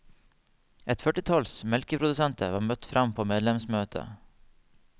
Et førtitalls melkeprodusenter var møtt fram på medlemsmøtet.